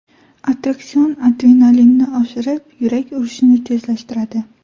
Attraksion adrenalinni oshirib, yurak urishini tezlashtiradi.